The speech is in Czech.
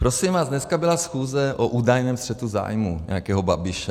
Prosím vás, dnes byla schůze o údajném střetu zájmů nějakého Babiše.